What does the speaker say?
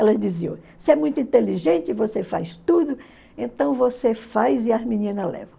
Elas diziam, você é muito inteligente, você faz tudo, então você faz e as meninas levam.